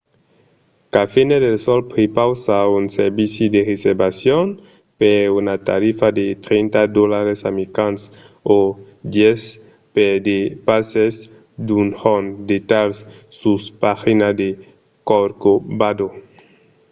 cafenet el sol prepausa un servici de reservacion per una tarifa de 30$ americans o 10$ per de passes d'un jorn; detalhs sus la pagina de corcovado